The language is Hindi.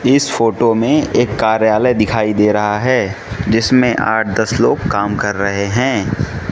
इस फोटो में एक कार्यालय दिखाई दे रहा है जिसमें आठ दस लोग काम कर रहे हैं।